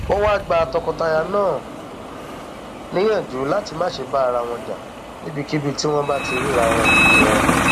ó wáá gba tọkọtaya náà níyànjú láti má ṣe bá ara wọn jà níbikíbi tí wọn bá ti ríra wọn wọn